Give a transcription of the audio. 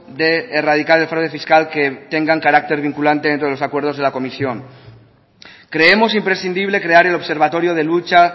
de erradicar el fraude fiscal que tengan carácter vinculante dentro de los acuerdos de la comisión creemos imprescindible crear el observatorio de luchas